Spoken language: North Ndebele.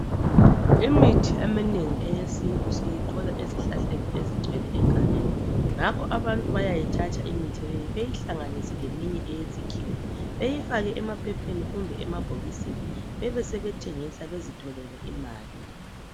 Imithi yesintu eminengi siyithola ezihlahleni ezisegsngeni ngakho abantu bayayithatha limithi beyihlanganise leminye eyesikhuwa beyifake emaphepheni kumbe emabhokisini besebeyithengisa ukuze bazitholele imali